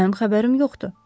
Mənim xəbərim yoxdur.